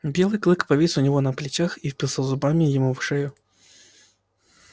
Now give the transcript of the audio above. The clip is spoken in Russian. белый клык повис у него на плечах и впился зубами ему в шею